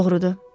Doğrudu.